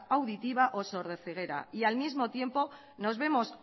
auditiva o sordoceguera y al mismo tiempo nos vemos